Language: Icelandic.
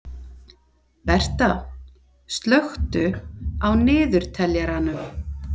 Berta, slökktu á niðurteljaranum.